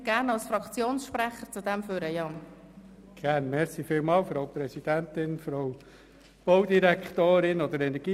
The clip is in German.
Wenn Sie den Antrag verstanden haben, können Sie als Fraktionssprecher ans Mikrofon kommen.